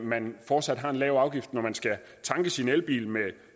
man fortsat har en lav afgift når man skal tanke sin elbil med